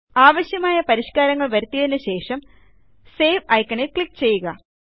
ആവശ്യമായ പരിഷ്കാരങ്ങൾ വരുത്തിയതിനു ശേഷംSave ഐക്കണിൽ ക്ലിക്ക് ചെയ്യുക